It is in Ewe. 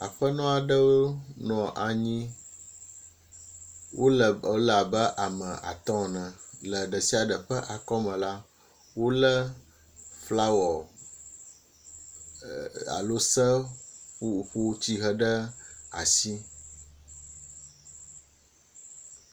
aƒenɔɖewo nɔ anyi wóle abe ame atɔ ene le ɖesiaɖe ƒe akɔme la wóle flawɔ alo seƒoƒo tsihe ɖe asi